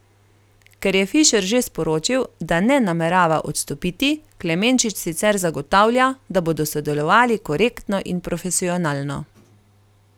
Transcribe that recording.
Ker je Fišer že sporočil, da ne namerava odstopiti, Klemenčič sicer zagotavlja, da bodo sodelovali korektno in profesionalno.